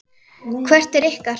Hvert er ykkar?